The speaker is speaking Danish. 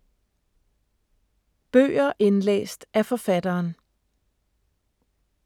Bøger indlæst af forfatteren